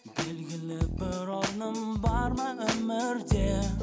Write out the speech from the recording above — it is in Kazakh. белгілі бір орным бар ма өмірде